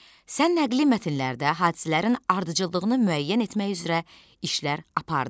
Sən nəqli mətnlərdə hadisələrin ardıcıllığını müəyyən etmək üzrə işlər apardın.